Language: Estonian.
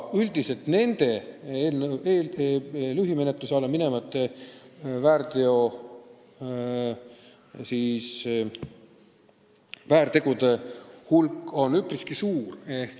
Üldiselt aga on lühimenetluse alla minevate väärtegude hulk üpriski suur.